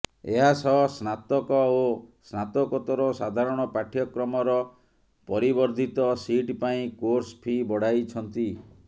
ଏହା ସହ ସ୍ନାତକ ଓ ସ୍ନାତକୋତ୍ତର ସାଧାରଣ ପାଠ୍ୟକ୍ରମର ପରିବର୍ଦ୍ଧିତ ସିଟ୍ ପାଇଁ କୋର୍ସ ଫି ବଢାଇଛନ୍ତି